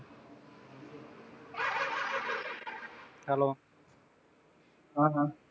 hello ਹਾਂ